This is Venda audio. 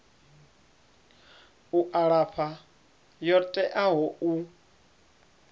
u alafha yo teaho u